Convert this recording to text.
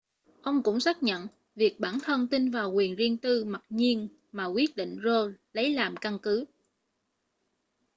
ông cũng xác nhận việc bản thân tin vào quyền riêng tư mặc nhiên mà quyết định roe lấy làm căn cứ